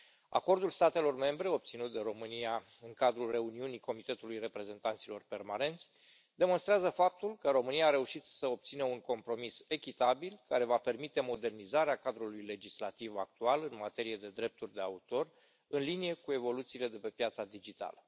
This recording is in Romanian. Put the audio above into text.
Acordul statelor membre obținut de România în cadrul reuniunii Comitetului Reprezentanților Permanenți demonstrează faptul că România a reușit să obțină un compromis echitabil, care va permite modernizarea cadrului legislativ actual în materie de drepturi de autor, în linie cu evoluțiile de pe piața digitală.